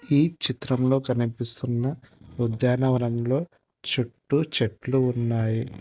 ఈ చిత్రంలో కనిపిస్తున్న ఉద్యానవనంలో చుట్టూ చెట్లు ఉన్నాయి.